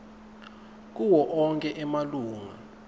kuwo onkhe emalunga